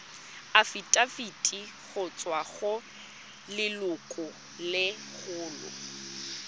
afitafiti go tswa go lelokolegolo